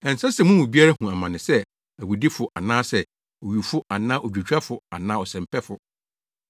Ɛnsɛ sɛ mo mu biara hu amane sɛ owudifo anaa owifo anaa odwotwafo anaa ɔsɛmpɛfo.